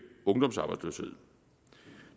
ungdomsarbejdsløshed